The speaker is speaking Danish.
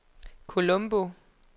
Colombo